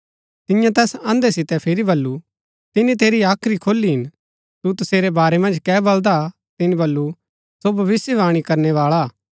तियें तैस अंधे सितै फिरी बल्लू तिनी तेरी हाख्री खोली हिन तू तसेरै वारै मन्ज कै बलदा तिनी बल्लू सो भविष्‍यवाणी करनै बाळा हा